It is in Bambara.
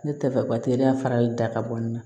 Ne tɛ fɛ ka teliya farali da ka bɔ nin na